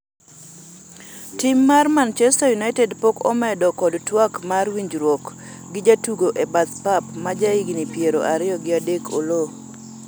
tim mar machester united pok omedo kod twak mar winjruok gi jatugo e bath path ma jahigni piero ariyo gi adek Oloo